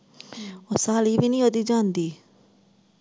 ਸਾਲੀ ਵੀ ਨੀ ਓਦੀ ਜਾਂਦੀ।